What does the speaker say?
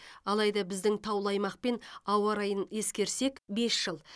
алайда біздің таулы аймақ пен ауа райын ескерсек бес жыл